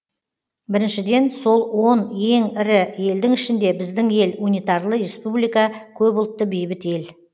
біріншіден сол он ең ірі елдің ішінде біздің ел унитарлы республика көпұлтты бейбіт ел